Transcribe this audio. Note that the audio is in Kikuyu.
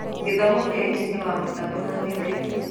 gĩthomo kĩa injinia wa mitambo na thitima